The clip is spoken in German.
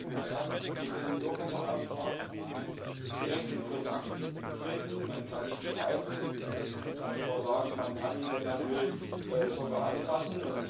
Man kann mit dem Bürgerbeauftragten direkt in Kontakt treten, man kann ihm schreiben, man kann sogar sagen, man kann ihn, wenn man will, anfassen.